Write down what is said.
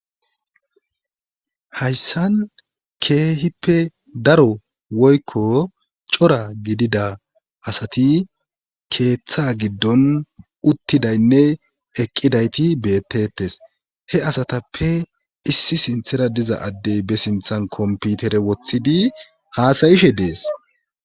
hayssan keehippe daro woykko cora gidida asati keeththa giddon uttidaynne eqqidayti bettettes he asatappe issi sinthera diza addey be sinthan komputere woththidi haasayishe dees